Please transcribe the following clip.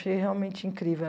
achei realmente incrível.